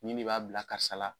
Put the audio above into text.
Nin de b'a bila karisa la